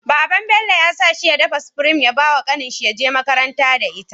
Baban Bello yasa shi ya dafa supreme ya bawa kanin shi yaje makaranta da ita